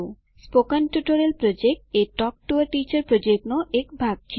spoken tutorial project એ talk to a teacher પ્રોજેક્ટનો એક ભાગ છે